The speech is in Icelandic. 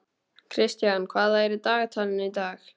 Kristian, hvað er í dagatalinu í dag?